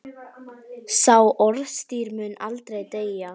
Sá orðstír mun aldrei deyja.